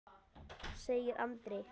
segir Andri.